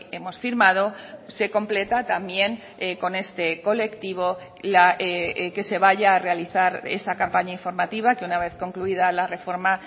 hemos firmado se completa también con este colectivo que se vaya a realizar esa campaña informativa que una vez concluida la reforma